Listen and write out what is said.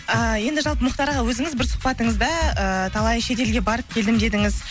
ыыы енді жалпы мұхтар аға өзіңіз бір сұхбатыңызда ыыы талай шет елге барып келдім дедіңіз